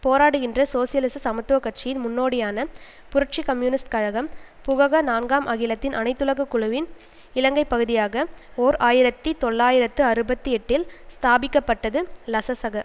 போராடுகின்ற சோசியலிச சமத்துவ கட்சியின் முன்நோடியான புரட்சி கம்யூனிஸ்ட் கழகம் புகக நான்காம் அகிலத்தின் அனைத்துலக குழுவின் இலங்கை பகுதியாக ஓர் ஆயிரத்தி தொள்ளாயிரத்து அறுபத்தி எட்டில் ஸ்தாபிக்க பட்டது லசசக